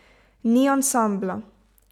Ni ansambla.